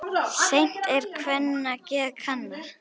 Seint er kvenna geð kannað.